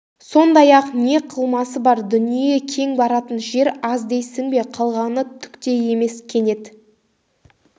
сондай-ақ не қылмысы бар дүние кең баратын жер аз дейсің бе қалғаны түк те емес кенет